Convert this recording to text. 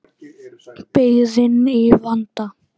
Byggðin í vanda.